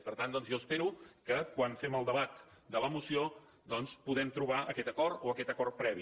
i per tant doncs jo espero que quan fem el debat de la moció puguem trobar aquest acord o aquest acord previ